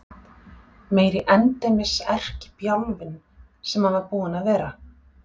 Meiri endemis erkibjálfinn sem hann var búinn að vera!